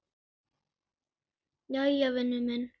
Jæja, vinur minn.